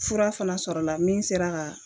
Fura fɛnɛ sɔrɔla la min sera ka